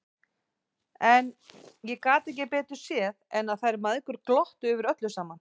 En ég gat ekki betur séð en að þær mæðgur glottu yfir öllu saman!